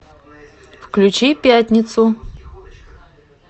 включи пятницу